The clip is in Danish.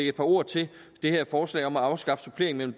et par ord til det her forslag om at afskaffe supplering mellem